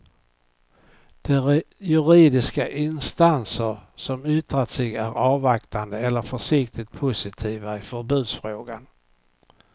De juridiska instanser som yttrat sig är avvaktande eller försiktigt positiva i förbudsfrågan.